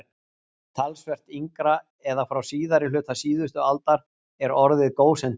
Talsvert yngra, eða frá síðari hluta síðustu aldar, er orðið gósentíð.